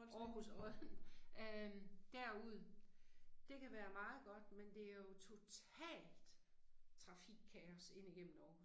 øh. Aarhus Odden øh derud, det kan være meget godt men det er jo totalt trafikkaos ind igennem Aarhus